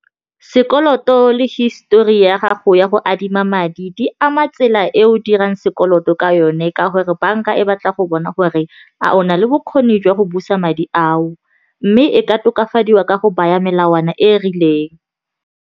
Sekoloto le histori ya gago ya go adima madi di ama tsela e o dirang sekoloto ka yone, ka gore banka e batla go bona gore a ona le bokgoni jwa go busa madi ao, mme e ka tokafadiwa ka go baya melawana e rileng.